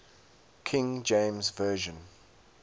king james version